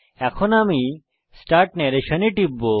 এখন আমি start narration এ টিপব